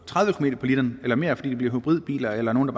tredive km på literen eller mere fordi det bliver hybridbiler eller nogle